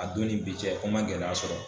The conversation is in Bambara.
A don ni bi cɛ ko n man gɛlɛya sɔrɔ.